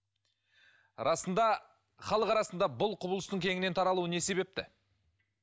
расында халық арасында бұл құбылыстың кеңінен таралуы не себепті